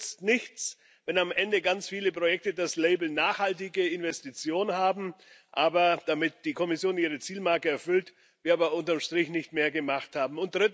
Es nützt nichts, wenn am Ende ganz viele Projekte das Label nachhaltige Investition haben, damit die Kommission ihre Zielmarke erfüllt, wir aber unterm Strich nicht mehr gemacht haben.